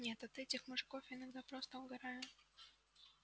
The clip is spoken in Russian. нет я от этих мужиков иногда просто угораю